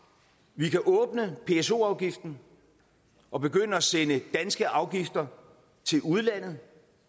vi kan åbne pso afgiften og begynde at sende danske afgifter til udlandet